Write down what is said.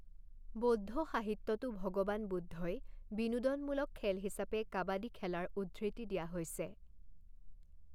বৌদ্ধ সাহিত্যতো ভগৱান বুদ্ধই বিনোদনমূলক খেল হিচাপে কাবাদী খেলাৰ উদ্ধৃতি দিয়া হৈছে।